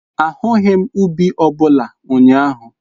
Ahụghị m ubi ọ bụla ụnyaahụ.